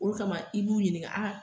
O kama i b'u ɲininka a